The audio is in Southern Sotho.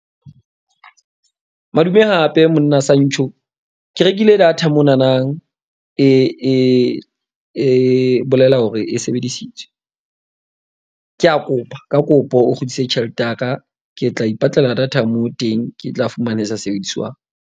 Madume, hape monna Santjho ke rekile data monanang. E bolela hore e sebedisitswe. Ke a kopa ka kopo o kgutlise tjhelete ya ka. Ke tla ipatlela data moo teng ke tla fumana e sa sebediswang.